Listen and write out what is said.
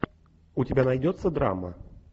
у тебя найдется драма